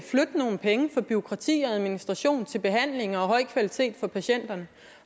nogle penge fra bureaukrati og administration til behandling og høj kvalitet for patienterne